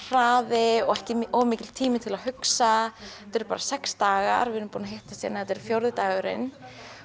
hraði og ekki of mikill tími til að hugsa þetta eru bara sex dagar við erum búin að hittast hérna þetta er fjórði dagurinn